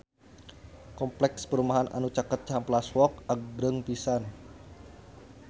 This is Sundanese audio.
Kompleks perumahan anu caket Cihampelas Walk agreng pisan